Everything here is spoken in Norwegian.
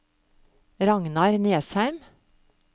Ragnar Nesheim